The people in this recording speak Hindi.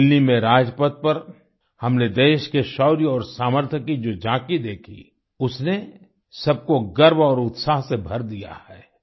दिल्ली में राजपथ पर हमने देश के शौर्य और सामर्थ्य की जो झाँकी देखी उसने सबको गर्व और उत्साह से भर दिया है